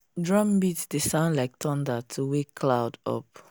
drum beat dey sound like thunder to wake cloud up.